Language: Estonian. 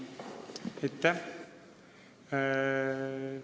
Aitäh!